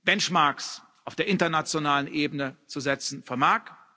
Benchmarks auf der internationalen Ebene zu setzen vermag.